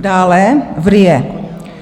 Dále v RIA: